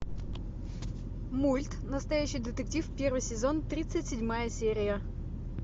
мульт настоящий детектив первый сезон тридцать седьмая серия